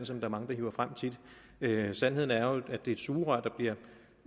som mange hiver frem tit sandheden er jo at det er et sugerør der bliver